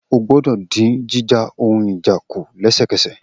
O gbọ́dọ̀ dín jíjà ohun ìjà kù lẹ́sẹ̀kẹsẹ̀